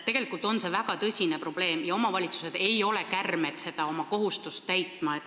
Tegelikult on see väga tõsine probleem ja omavalitsused ei ole kärmed oma kohustust täitma.